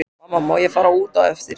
Mamma má ég fara út á eftir?